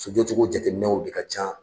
F'i ko togo jateminɛw de ka ca.